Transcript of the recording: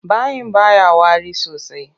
Bayin baya wari sosai.